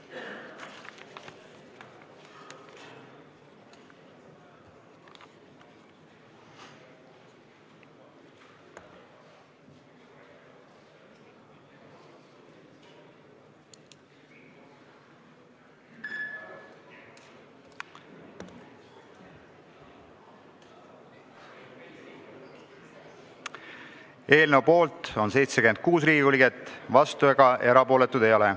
Hääletustulemused Eelnõu poolt on 76 Riigikogu liiget, vastuolijaid ega erapooletuid ei ole.